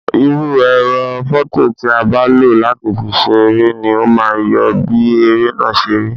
Irú ẹ̀rọ fọto ti a bá lo láti fi ṣe eré ni o ma yọ bí eré náà ṣe rí.